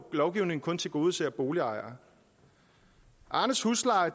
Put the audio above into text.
lovgivningen kun tilgodeser boligejere arnes husleje